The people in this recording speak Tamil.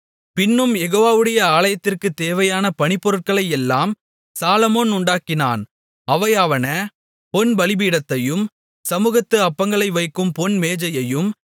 பின்னும் யெகோவாவுடைய ஆலயத்திற்குத் தேவையான பணிப்பொருட்களையெல்லாம் சாலொமோன் உண்டாக்கினான் அவையாவன பொன் பலிபீடத்தையும் சமுகத்து அப்பங்களை வைக்கும் பொன் மேஜையையும்